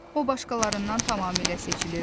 O başqalarından tamamilə seçilirdi.